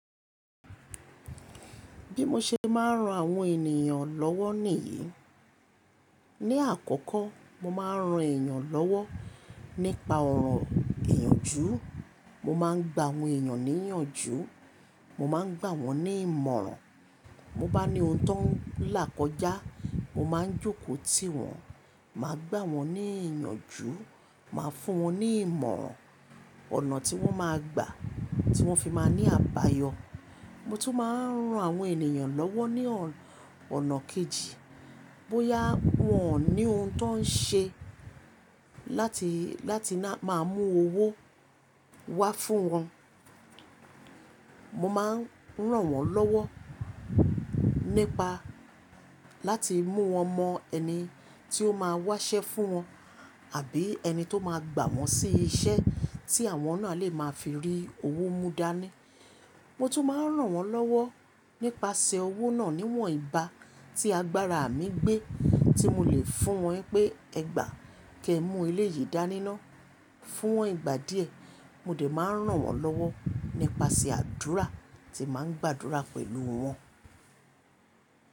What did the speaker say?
Bí mo ṣe máa ń ran àwọn ènìyàn lọ́wọ́ nìyìí, ní àkọ́kọ́ mo máa ń ran èèyàn lọ́wọ́ nípa ọ̀rọ̀ ìyànjú, mo máa ń gba àwọn èèyàn níyànjú, mo máa ń gbà wọ́n ní ìmọ̀ràn, mo bá ní ohun tó ń là kọjá, mo máa ń jókòó tí wọ́n, màá gbà wọ́n ní ìyànjú, màá fún wọ́n ní ìmọ̀ràn, ọ̀nà tí wọ́n máa gbà tí wọ́n fi máa ní àbáyọ. Mo tún máa ń ran àwọn ènìyàn lọ́wọ́ ní ọ̀nà kejì, bóyá wọ́n ní ohun tó ń ṣe láti, láti máa mú owó wá fún wọn, mo máa ń ràn wọ́n lọ́wọ́ nípa láti mú wọn mọ ẹni tí ó máa wáṣẹ́ fún wọn àbí ẹni tó máa gbà wọ́n sí iṣẹ́ tí àwọn náà lè máa fi rí owó mú dání. Mo tún máa ń ràn wọ́n lọ́wọ́ nípasẹ̀ owó náà níwọ̀n ìbá tí agbára mi gbé tí mo lè fún wọn pé, "Ẹgbàá kẹ mú eleyìí dání ná." Fún iwọn ìgbà díẹ̀. Mo de máa ń ràn wọ́n lọ́wọ́ nípasẹ̀ àdúrà tí màá ń gbàdúrà pẹ̀lú wọn.